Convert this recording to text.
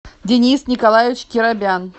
денис николаевич керобян